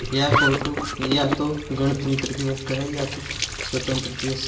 यह फोटो या तो गणतंत्र दिवस का है या फिर स्वतंत्रता दिवस--